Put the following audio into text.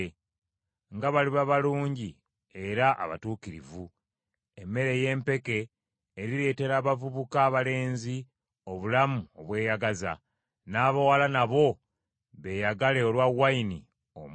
Nga baliba balungi era abatuukirivu! Emmere ey’empeke erireetera abavubuka abalenzi obulamu obweyagaza, n’abawala nabo beeyagale olwa wayini omuggya.